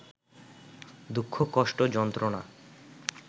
দুঃখ-কষ্ট-যন্ত্রণা